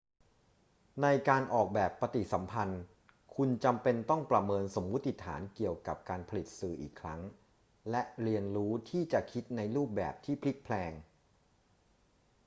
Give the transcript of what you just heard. ในการออกแบบปฏิสัมพันธ์ คุณจำเป็นต้องประเมินสมมติฐานเกี่ยวกับการผลิตสื่ออีกครั้งและเรียนรู้ที่จะคิดในรูปแบบที่พลิกแพลง